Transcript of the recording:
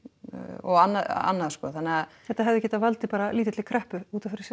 og annað sko þannig að þetta hefði getað valdið bara lítilli kreppu útaf fyrir sig